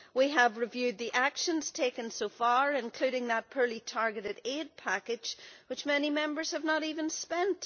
We have reviewed the actions taken so far, including that poorly-targeted aid package which many members have not even spent.